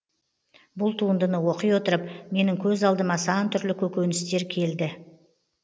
бұл туындыны оқи отырып менің көз алдыма сан түрлі көріністер келді